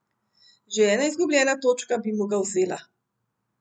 Že ena izgubljena točka bi mu ga vzela.